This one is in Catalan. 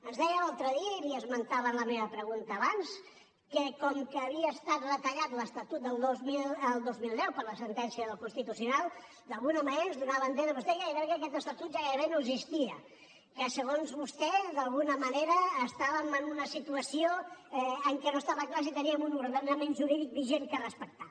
ens deia l’altre dia i l’hi esmentava en la meva pregunta abans que com que havia estat retallat l’estatut del dos mil deu per la sentència del constitucional d’alguna manera ens donava a entendre vostè gairebé que aquest estatut ja gairebé no existia que segons vostè d’alguna manera estàvem en una situació en què no estava clar si teníem un ordenament jurídic vigent per respectar